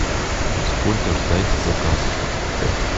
сколько ждать заказ